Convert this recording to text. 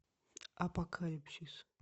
апокалипсис